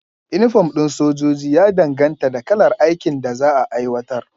Inifom ɗin sojoji ya danganta da kalar aikin da za a aiwatar